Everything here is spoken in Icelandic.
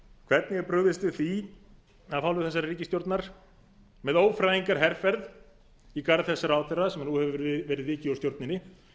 hvernig er brugðist við því af hálfu þessarar ríkisstjórnar með ófrægingarherferð í garð þess ráðherra sem nú hefur verið vikið úr stjórninni